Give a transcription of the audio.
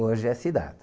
Hoje é cidade.